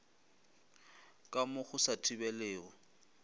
ka mo go sa thibelego